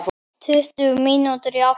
Tuttugu mínútur í átta.